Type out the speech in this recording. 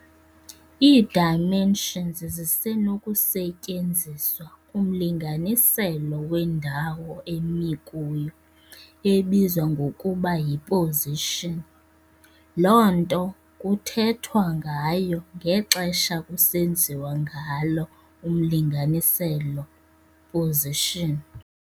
Ii-dimensions zisenokusetyenziswa kumlinganiselo wendawo emi kuyo, ebizwa ngokuba yi-position, loo nto kuthethwa ngayo ngexesha kusenziwa ngalo umlinganiselo-position.